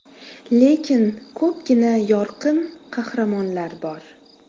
Lekin ko‘pgina yorqin qahramonlar bor.